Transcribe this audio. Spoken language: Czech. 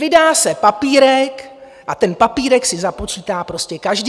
Vydá se papírek a ten papírek si započítá prostě každý.